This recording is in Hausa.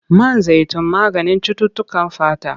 Man zaitun maganin cututtukan fata.